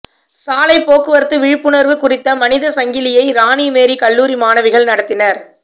சாலை போக்குவரத்து விழிப்புணர்வு குறித்த மனித சங்கிலியை ராணி மேரி கல்லூரி மாணவிகள் நடத்தினர்